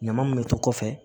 Ɲama minnu to kɔfɛ